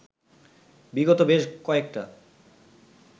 বিগত বেশ কয়েকটা